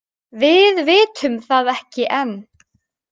Við vitum það ekki enn.